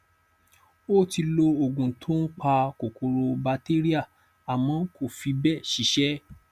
ó ti lo òògun tó ń pa kòkòro batéríà àmọ kò fí bẹẹ ṣiṣẹ